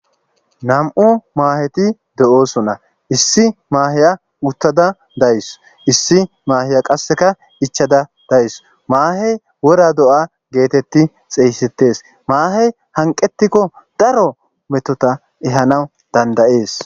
nam7u maaheti de7oosona issi maaheya uttada days issi maaheya qasseka ichada days maahey wora do7a geetetti xeeysetes maahey hanqetikko daro metota ehanaw dandayees